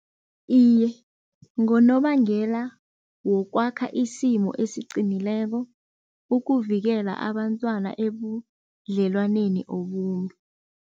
Iye, ngonobangela wokwakha isimo esiqinileko, ukuvikela abantwana ebudlelwaneni obumbi.